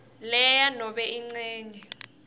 lea nobe incenye